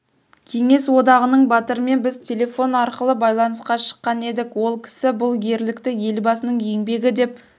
кеңес одағының батырымен біз телефон арқылы байланысқа шыққан едік ол кісі бұл ерлікті елбасының еңбегі деп